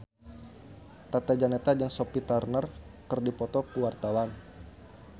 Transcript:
Tata Janeta jeung Sophie Turner keur dipoto ku wartawan